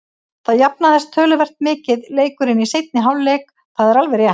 Það jafnaðist töluvert mikið leikurinn í seinni hálfleik, það er alveg rétt.